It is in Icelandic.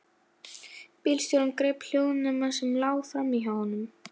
Bílstjórinn greip hljóðnema sem lá frammí hjá honum.